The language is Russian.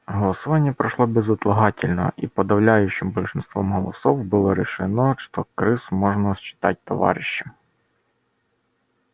голосование прошло безотлагательно и подавляющим большинством голосов было решено что крыс можно считать товарищами